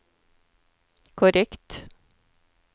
korrekt